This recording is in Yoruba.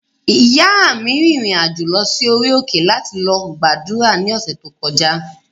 Ìyáa mi rìnrìn-àjò lọ sí orí òkè láti lọ gbàdúrà ní ọ̀sẹ̀ tí ó kọjá